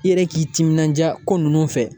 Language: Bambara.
I yɛrɛ k'i timinandiya ko ninnu fɛ